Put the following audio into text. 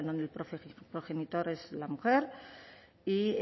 donde el progenitor es la mujer y